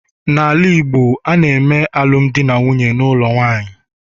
n'ala Igbo, a na-eme alụmdi na nwunye n'ụlọ nwanyị